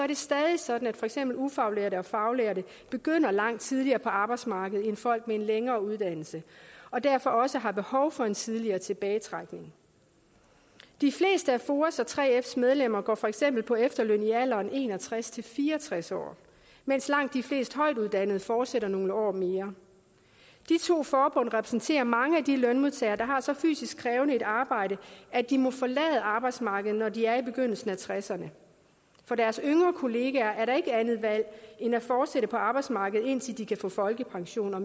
det stadig sådan at for eksempel ufaglærte og faglærte begynder langt tidligere på arbejdsmarkedet end folk med en længere uddannelse og derfor også har behov for en tidligere tilbagetrækning de fleste af foas og 3fs medlemmer går for eksempel på efterløn i alderen en og tres til fire og tres år mens langt de fleste højtuddannede fortsætter nogle år mere de to forbund repræsenterer mange af de lønmodtagere der har så fysisk krævende et arbejde at de må forlade arbejdsmarkedet når de er i begyndelsen af tresserne for deres yngre kollegaer er der ikke andet valg end at fortsætte på arbejdsmarkedet indtil de kan få folkepension og